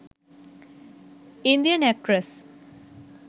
indian actress